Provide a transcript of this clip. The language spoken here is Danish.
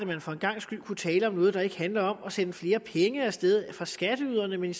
man for en gangs skyld kunne tale om noget der ikke handler om at sende flere penge af sted fra skatteyderne men